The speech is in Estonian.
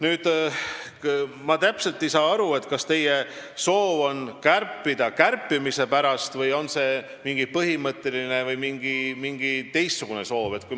Ma ei saa täpselt aru, kas teil on soov kärpida kärpimise pärast või on teil põhimõtteline või mingi teistsugune soov.